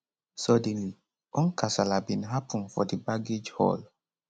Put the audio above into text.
suddenly one kasala bin happun for di baggage hall